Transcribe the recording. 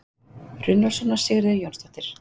Runólfsson og Sigríður Jónsdóttir.